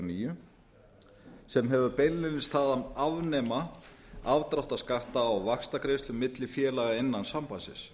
b sem hefur það beinlínis að að afnema afdráttarskatta á vaxtagreiðslur milli félaga innan sambandsins